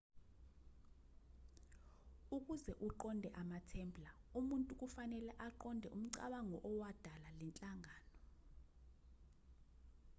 ukuze uqonde amatemplar umuntu kufanele aqonde umcabango owadala le nhlangano